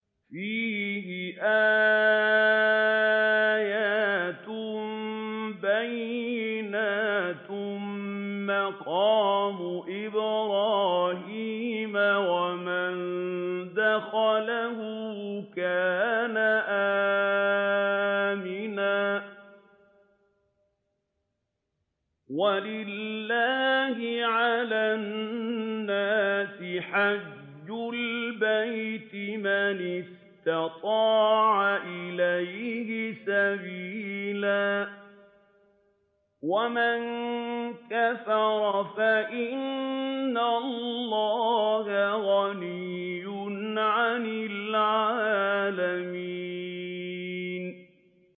فِيهِ آيَاتٌ بَيِّنَاتٌ مَّقَامُ إِبْرَاهِيمَ ۖ وَمَن دَخَلَهُ كَانَ آمِنًا ۗ وَلِلَّهِ عَلَى النَّاسِ حِجُّ الْبَيْتِ مَنِ اسْتَطَاعَ إِلَيْهِ سَبِيلًا ۚ وَمَن كَفَرَ فَإِنَّ اللَّهَ غَنِيٌّ عَنِ الْعَالَمِينَ